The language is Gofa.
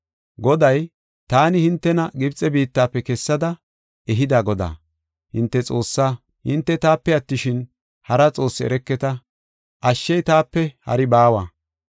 Goday “Taani hintena Gibxe biittafe kessada ehida Godaa, hinte Xoossaa. Hinte taape attishin, hara xoossi ereketa; ashshey taape hari baawa.